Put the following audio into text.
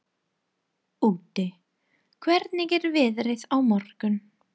Úddi, hvernig er veðrið á morgun?